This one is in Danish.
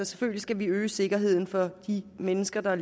selvfølgelig skal vi øge sikkerheden for de mennesker der